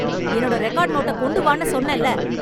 என்னோட ரெக்கார்ட் நோட்ட கொண்டு வான்னு சொன்னேன்ல...